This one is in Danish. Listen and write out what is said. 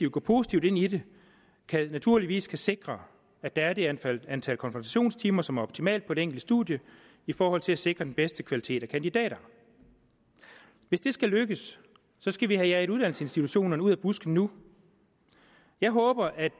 gå positivt ind i det naturligvis skal sikre at der er det antal antal konfrontationstimer som er optimalt på det enkelte studie i forhold til at sikre den bedste kvalitet af kandidater hvis det skal lykkes skal vi have jaget uddannelsesinstitutionerne ud af busken nu jeg håber at